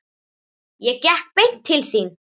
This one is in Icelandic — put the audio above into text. Ég gekk beint til þín.